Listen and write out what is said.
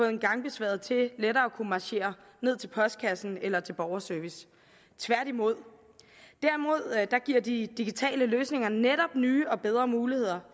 en gangbesværet til lettere at kunne marchere ned til postkassen eller til borgerservice tværtimod derimod giver de digitale løsninger netop nye og bedre muligheder